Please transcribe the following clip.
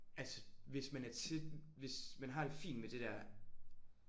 Altså hvis man er til hvis man har det fint med det der